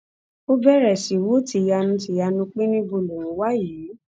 ó bẹrẹ sí í wò tìyanu tìyanu pé níbo lòun wà yìí